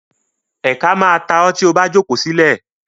Ẹ̀ka má a ta ọ́ tí o bá jókòó sílẹ̀.